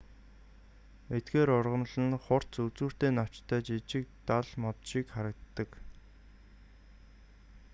эдгээр ургамал нь хурц үзүүртэй навчтай жижиг дал мод шиг харагддаг